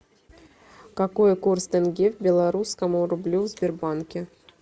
какой курс тенге к белорусскому рублю в сбербанке